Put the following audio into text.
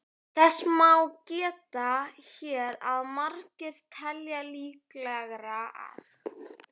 Þess má geta hér að margir telja líklegra að